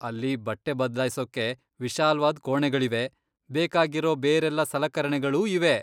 ಅಲ್ಲಿ ಬಟ್ಟೆ ಬದ್ಲಾಯ್ಸೋಕೆ ವಿಶಾಲ್ವಾದ್ ಕೋಣೆಗಳಿವೆ, ಬೇಕಾಗಿರೋ ಬೇರೆಲ್ಲ ಸಲಕರಣೆಗಳೂ ಇವೆ.